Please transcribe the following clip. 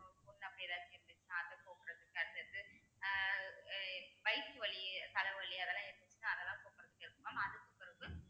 புண்ணு அப்படி ஏதாச்சும் இருந்துச்சுன்னா அத போக்கறதுக்கு அடுத்தது ஆஹ் அஹ் வயிற்று வலி, தலைவலி அதெல்லாம் இருந்துச்சுன்னா அதெல்லாம் போக்கறதுக்கு இருக்கும் mam அதுக்குபிறவு